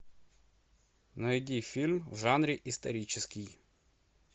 найди фильм в жанре исторический